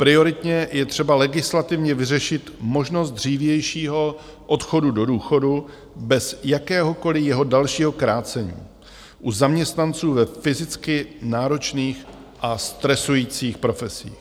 Prioritně je třeba legislativně vyřešit možnost dřívějšího odchodu do důchodu bez jakéhokoliv jeho dalšího krácení u zaměstnanců ve fyzicky náročných a stresujících profesích.